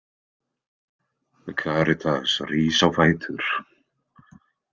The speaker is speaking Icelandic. Karitas rís á fætur.